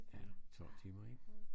Ja 12 timer ik